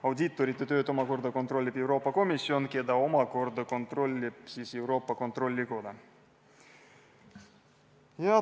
Audiitorite tööd kontrollib Euroopa Komisjon, keda omakorda kontrollib Euroopa Kontrollikoda.